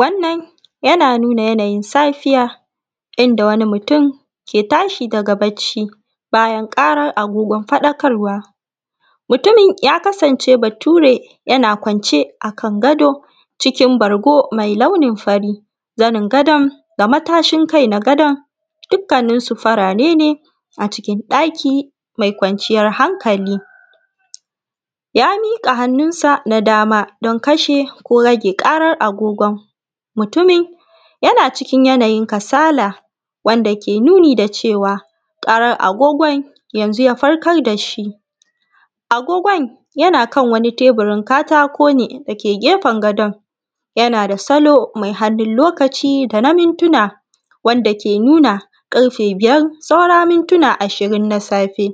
Wannan yana nunaa yanayin safiya inda wani mutum ke tashi daga barci bayan ƙaran agogon faɗakarwa. Mutumin ya kasance bature, yana kwance akan gado cikin bargo mai launin fari, zanin gadon da matashin kai na gadon dukkaninsu farare ne acikin ɗaki mai kwaniyar hankali. Ya miƙaa hannunsa na dama don kashe ko ragee ƙarar agogon. Mutumin yana cikin yanayin kasala wanda ke nunii da cewa ƙarar agogon yanzu ya farkar da shi. Agogon yana kan wani teburin katako ne da ke gefen gadon, yana da salo mai hannun lokaci da na mintunaa dake nunaa ƙarfe biyar saura mintunaa ashirin na safe.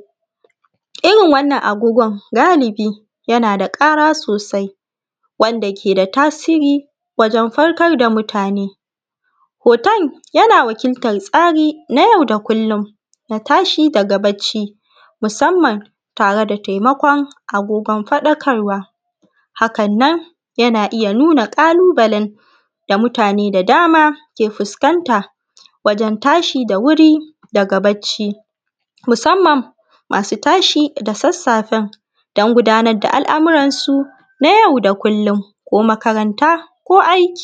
Irin wannan agogon galibi yana da ƙara sosai, wanda ke da tasiri wajen farkar da mutane. Hoton yana wakiltar tsari na yau da kullum na tashi daga bacci, musamman tare da taimako agogon faɗakarwa. Hakan nan yana iya nunaa ƙalubalen da mutane da dama ke fuskanta wajen tashi da wuri daga bacci, musamman masu tashi da sassafen don gudanar da al’amuransu na yau da kullum, ko makaranta ko aiki.